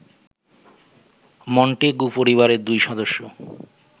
Montague পরিবারের দুই সদস্য